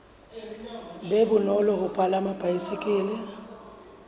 be bonolo ho palama baesekele